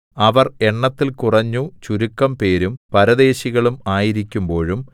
അവർ എണ്ണത്തിൽ കുറഞ്ഞു ചുരുക്കംപേരും പരദേശികളും ആയിരിക്കുമ്പോഴും